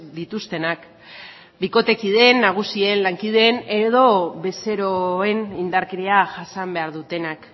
dituztenak bikotekideen nagusien lankideen edo bezeroen indarkeria jasan behar dutenak